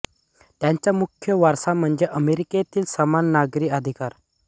त्यांचा मुख्य वारसा म्हणजे अमेरिकेतील समान नागरी अधिकार